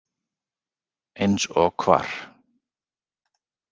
Eins og hvar?